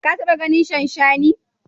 Ka taɓa ganin shanshani?